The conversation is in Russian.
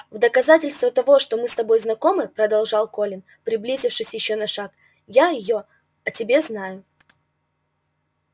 в доказательство того что мы с тобой знакомы продолжал колин приблизившись ещё на шаг я её о тебе знаю